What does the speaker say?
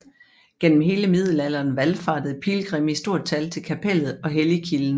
Gennem hele middelalderen valfartede pilgrimme i stort tal til kapellet og helligkilden